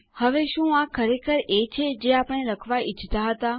હવે શું આ ખરેખર એ છે જે આપણે લખવા ઈચ્છતા હતા